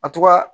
A to ga